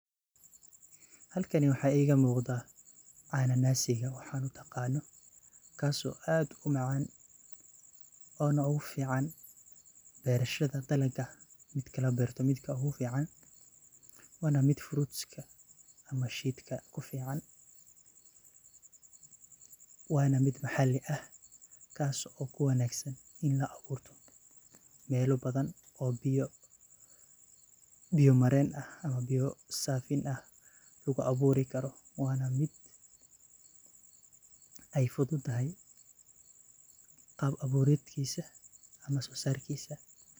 Halkani waxa iga muqdah, cananasi an utaqano kaso aad u macan oo na ugufican beceshda dalka midka la beertoh midka ugu fican Wana mid fruit ka amah sheegta kufican Wana mid maxaali aah kaso kuwangsan ini la abuurtoh, meelaha bathan oo biyaha mareen aah iyo saafin aah lagu abuurikaroh, Wana mid ay fuuthutahay qaab abuuratkisah amah so saarkisa .